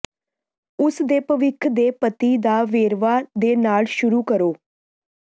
ਉਸ ਦੇ ਭਵਿੱਖ ਦੇ ਪਤੀ ਦਾ ਵੇਰਵਾ ਦੇ ਨਾਲ ਸ਼ੁਰੂ ਕਰੋ